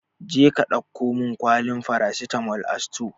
Jeka ɗauko min kwalin farasitamol a sutore!